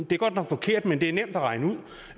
det er godt nok forkert men det er nemt at regne ud